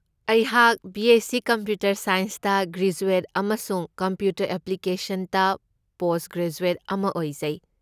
ꯑꯩꯍꯥꯛ BSc. Computer ꯁꯥꯏꯟꯁꯇ graduate ꯑꯃꯁꯨꯡ ꯀꯝꯄ꯭ꯌꯨꯇꯔ ꯑꯦꯄ꯭ꯂꯤꯀꯦꯁꯟꯁꯇ ꯄꯣꯁꯠꯒ꯭ꯔꯦꯖꯨꯑꯦꯠ ꯑꯃ ꯑꯣꯏꯖꯩ꯫